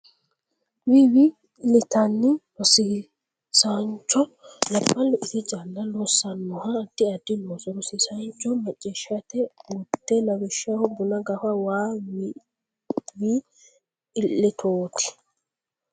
Wi Wi litanni Rosiisaancho Labballu ise calla loossannoha addi addi looso Rosiisaancho Macciishshite gudde lawishshaho buna gafa waa wi litooti !